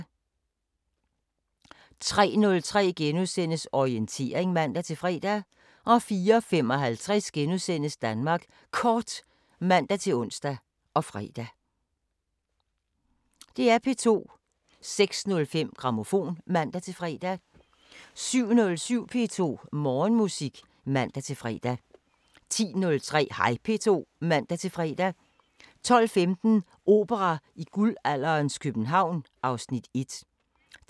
06:05: Regionale programmer (man-fre) 10:03: Take Off (man-fre) 12:15: P4 Play (man-fre) 12:33: P4 Play (man-fre) 13:03: Madsen (man-fre) 14:03: Pop op (man-tor) 15:03: Radio Rødgrød (man-tor) 16:50: Radiosporten (man-fre) 16:53: Radio Rødgrød (man-fre) 18:03: P4 Aften (man-fre)